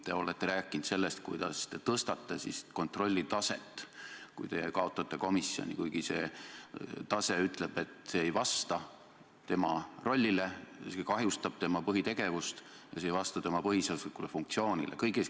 Te olete rääkinud sellest, kuidas te tõstate kontrolli taset, kui teie kaotate komisjoni, kuigi see tase ütleb, et see ei vasta tema rollile, see isegi kahjustab tema põhitegevust ega vasta tema põhiseaduslikule funktsioonile.